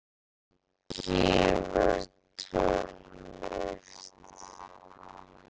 Toggi gefur tónlist